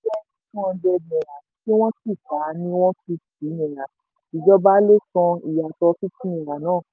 jẹ́ two hundred naira tí wọ́n sì tà á ní one fifty naira ìjọba ló san ìyàtọ̀ fifty naira náà.